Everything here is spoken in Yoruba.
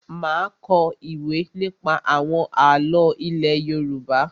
Má a kọ ìwé nípa àwọn àlọ́ ilé Yorùbá.